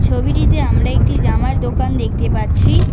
ছবিটিতে আমরা একটি জামার দোকান দেখতে পাচ্ছি।